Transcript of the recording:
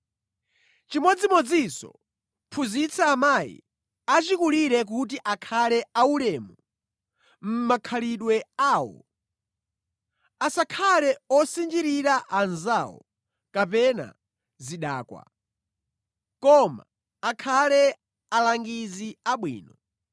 Chimodzimodzinso, phunzitsa amayi achikulire kuti akhale aulemu mʼmakhalidwe awo, asakhale osinjirira anzawo kapena zidakwa, koma akhale alangizi abwino.